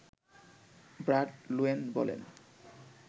Brad Loewen বলেন